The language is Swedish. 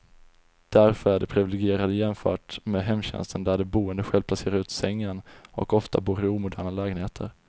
Därför är de priviligierade jämfört med hemtjänsten där de boende själv placerar ut sängen, och ofta bor i omoderna lägenheter.